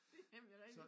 Det nemlig rigtig